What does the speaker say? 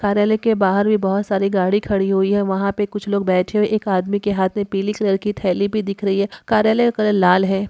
कार्यालय के बाहर भी बहुत सारी गाड़ी खड़ी हुई हैं। वहाँ पे कुछ लोग बैठे हुए एक आदमी के हाथ मे पीले कलर की थेली भी दिख रही है। कार्यालय का कलर लाल है।